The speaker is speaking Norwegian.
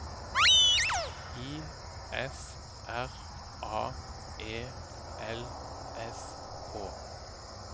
I S R A E L S K